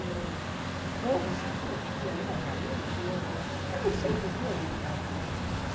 O povo se divertia, os alunos, e eu não sei por que a gente fazia aquilo.